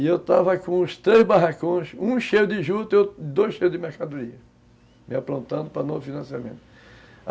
E eu estava com os três barracões, um cheio de jutas e dois cheios de mercadorias, me aprontando para o novo financiamento.